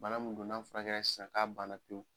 Bana mun do n'an furakɛra san k'a banna pewu